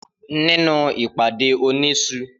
Nínú ìpàdé òní isu r